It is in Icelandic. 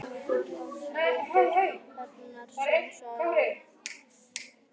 Kóngur á spýtunni hennar sem sagði